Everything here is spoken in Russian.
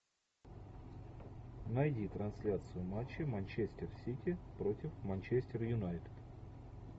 найди трансляцию матча манчестер сити против манчестер юнайтед